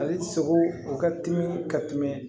Ale sogo o ka timi ka tɛmɛ